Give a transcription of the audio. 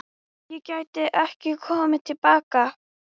Gæti ég komið til baka?